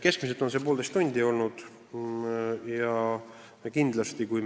Keskmiselt on nõustamine kestnud poolteist tundi.